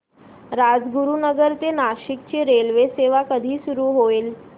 राजगुरूनगर ते नाशिक ची रेल्वेसेवा कधी सुरू होईल